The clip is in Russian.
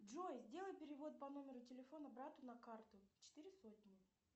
джой сделай перевод по номеру телефона брату на карту четыре сотни